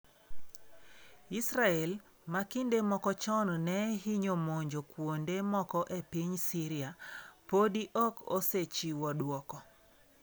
Israel, ma kinde moko chon ne hinyo monjo kuonde moko e piny Syria, podi ok osechiwo dwoko.